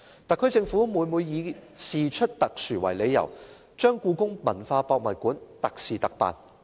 特區政府每每以事出特殊為理由，將故宮館"特事特辦"。